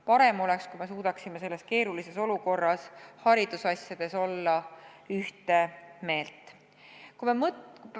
Parem oleks, kui me suudaksime selles keerulises olukorras haridusasjade teemal ühte meelt olla.